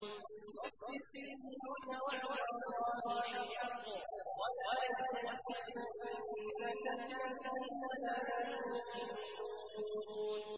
فَاصْبِرْ إِنَّ وَعْدَ اللَّهِ حَقٌّ ۖ وَلَا يَسْتَخِفَّنَّكَ الَّذِينَ لَا يُوقِنُونَ